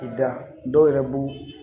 K'i da dɔw yɛrɛ b'u